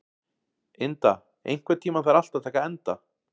Inda, einhvern tímann þarf allt að taka enda.